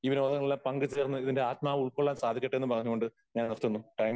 ഈ വിനോദങ്ങളിൽ പങ്കുചേർന്ന് ഇതിന്റെ ആത്മാവ് ഉൾക്കൊള്ളാൻ സാധിക്കട്ടെ എന്നും പറഞ്ഞുകൊണ്ട് ഞാൻ നിർത്തുന്നു. ടാൻ